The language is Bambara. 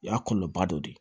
O y'a kɔlɔlɔba dɔ ye